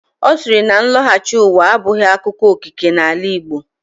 Ọ siiri na nlọghachi ụwa abụghị akụkọ okike n'ala Igbo.